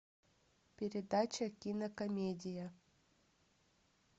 передача кинокомедия